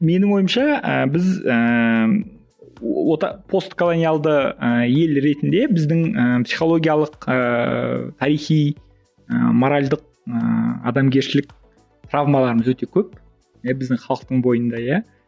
менің ойымша ііі біз ііі постколониялды і ел ретінде біздің і психологиялық ііі тарихи і моральдік і адамгершілік травмаларымыз өте көп иә біздің халықтың бойында иә